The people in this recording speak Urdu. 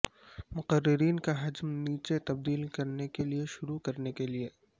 مقررین کا حجم نیچے تبدیل کرنے کے لئے شروع کرنے کے لئے